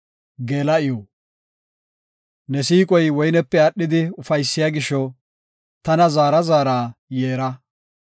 Ne siiqoy woynepe aadhidi ufaysiya gisho tana zaara zaara yeera.